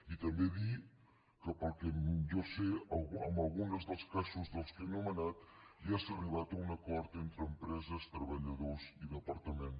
i també dir que pel que jo sé en algun dels casos que he anomenat ja s’ha arribat a un acord entre empreses treballadors i departament